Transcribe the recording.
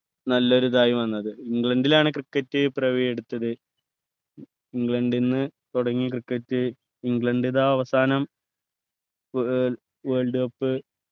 നല്ലൊരു ഇതായി വന്നത് ഇംഗ്ലണ്ടിലാണ് cricket പിറവിയെടുത്തത് ഇംഗ്ലണ്ട്ന്ന്‌ തുടങ്ങി cricket ഇംഗ്ലണ്ട് ഇതാ അവസാനം വേൾ world cup